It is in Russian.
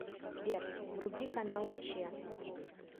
сбер вруби каналы че